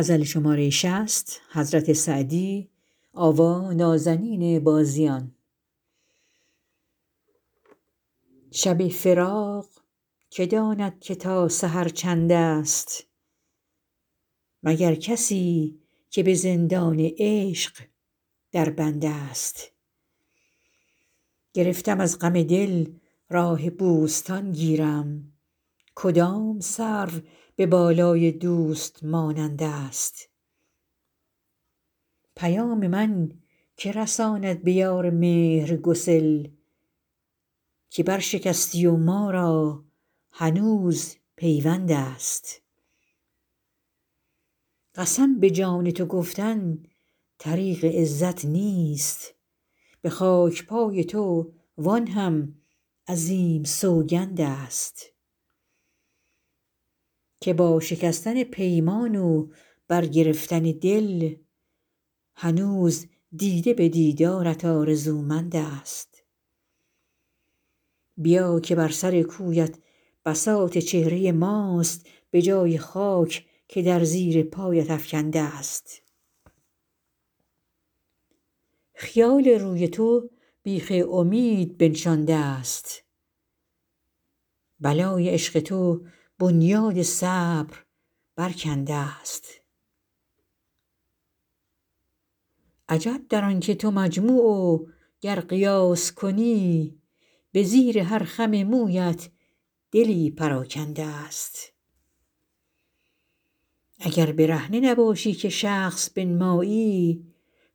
شب فراق که داند که تا سحر چندست مگر کسی که به زندان عشق در بندست گرفتم از غم دل راه بوستان گیرم کدام سرو به بالای دوست مانندست پیام من که رساند به یار مهرگسل که برشکستی و ما را هنوز پیوندست قسم به جان تو گفتن طریق عزت نیست به خاک پای تو وآن هم عظیم سوگندست که با شکستن پیمان و برگرفتن دل هنوز دیده به دیدارت آرزومندست بیا که بر سر کویت بساط چهره ماست به جای خاک که در زیر پایت افکندست خیال روی تو بیخ امید بنشاندست بلای عشق تو بنیاد صبر برکندست عجب در آن که تو مجموع و گر قیاس کنی به زیر هر خم مویت دلی پراکندست اگر برهنه نباشی که شخص بنمایی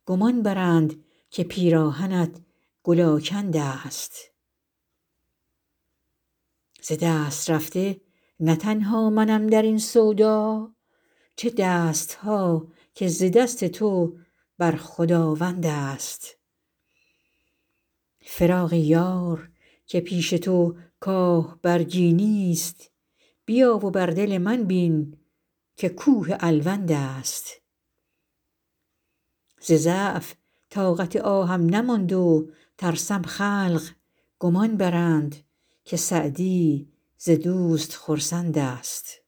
گمان برند که پیراهنت گل آکندست ز دست رفته نه تنها منم در این سودا چه دست ها که ز دست تو بر خداوندست فراق یار که پیش تو کاه برگی نیست بیا و بر دل من بین که کوه الوندست ز ضعف طاقت آهم نماند و ترسم خلق گمان برند که سعدی ز دوست خرسندست